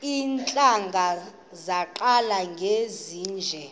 iintlanga zaqala ngezinje